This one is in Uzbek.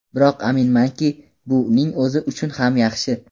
Biroq aminmanki, bu uning o‘zi uchun ham yaxshi.